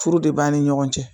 Furu de b'ani ɲɔgɔn cɛ